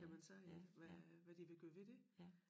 Kan man sige ik hvad hvad de vil gøre ved det